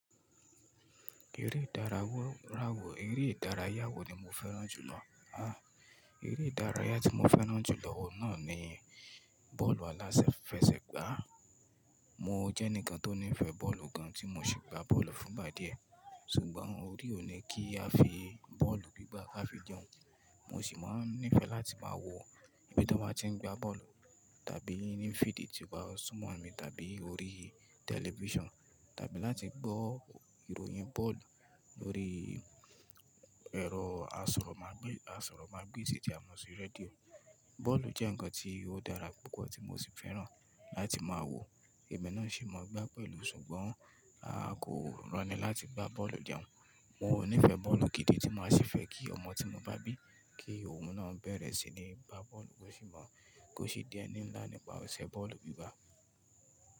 Eré ìdárayá wo, eré ìdárayá wo ni mo fẹ́ràn jùlọ? Háà! Eré ìdárayá tí mo fẹ́ràn jùlọ ọ́un náà ni bọ́ọ̀lù aláfẹsẹ̀gbá. Mo jẹ́ ẹnìkan tó nífẹ̀ẹ́ bọ́ọ̀lù gan an tí mo sì gba bọ́ọ̀lù fún ìgbà díẹ̀, ṣùgbọ́n orí ò ní kí a fi bọ́ọ̀lù gbígbá láti fi jẹun. Mo sì máa nífẹ̀ẹ́ láti máa wo ibi tó máa ti ń gba bọ́ọ̀lù tàbí nínú fídíì tí wọ́n sún mọ́ mi tàbí orí tẹlifíṣàn tàbí láti gbọ́ ìròyìn bọ́ọ̀lù lórí ẹ̀rọ asọ̀rọ̀mágbèsì tí a mọ̀ sí rédíò. Bọ́ọ̀lù jẹ́ ǹkan tí ó dára púpọ̀ tí mo sì fẹ́ràn láti máa wo èmi náà sì mọ gbá bọ́ọ̀lù ṣùgbọ́n a kò rọni láti gbá bọ́ọ̀lù jẹ̀un wọ́n. Mo ò nífẹ̀ẹ́ bọ́ọ̀lù gidi tí máa sì fẹ́ kí ọmọ tí mo bá bí kí òun náà bẹ̀rẹ̀ sí ní gba bọ́ọ̀lù kó sì mọ̀ kó sì di ẹni nlá nípa eṣẹ bọ́ọ̀lù gbígbá.